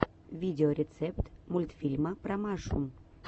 видеорецепт мультфильма про машу